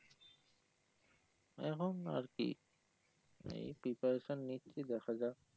এখন আর কি এই preparation নিচ্ছি দেখা যাক